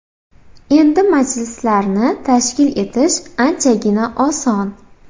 Endi majlislarni tashkil etish anchagina oson.